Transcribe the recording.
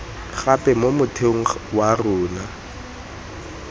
gape mo motheong wa rona